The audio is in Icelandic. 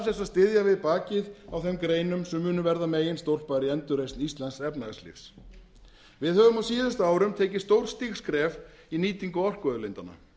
að styðja við bakið á þeim greinum sem munu verða meginstólpar í endurreisn íslensks efnahagslífs við höfum á síðustu árum tekið stórstíg skref í nýtingu orkuauðlindanna